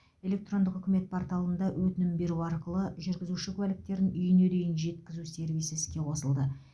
электрондық үкімет порталында өтінім беру арқылы жүргізуші куәліктерін үйіне дейін жеткізу сервисі іске қосылды